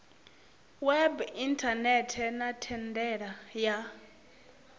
web inthanethe na thendela ya